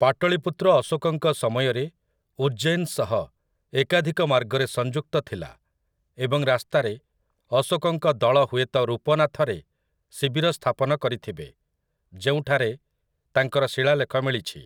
ପାଟଳୀପୁତ୍ର ଅଶୋକଙ୍କ ସମୟରେ ଉଜ୍ଜୈନ ସହ ଏକାଧିକ ମାର୍ଗରେ ସଂଯୁକ୍ତ ଥିଲା ଏବଂ ରାସ୍ତାରେ ଅଶୋକଙ୍କ ଦଳ ହୁଏତ ରୂପନାଥରେ ଶିବିର ସ୍ଥାପନ କରିଥିବେ, ଯେଉଁଠାରେ ତାଙ୍କର ଶିଳାଲେଖ ମିଳିଛି ।